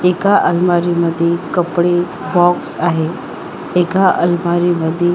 एका अलमारी मध्ये कपडे बॉक्स आहे एका अलमारी मध्ये --